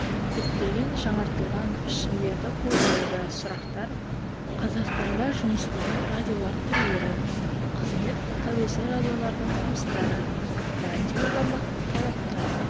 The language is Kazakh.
көптеген жаңартылған пішіндерді қолдануда сұрақтар қазақстанда жұмыс істейтін радиолар түрлері қызметі тәуелсіз радиолардың жұмыстары радиоформат талаптары